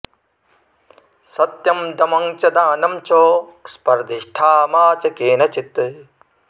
सत्यं दमं च दानं च स्पर्धिष्ठा मा च केनचित्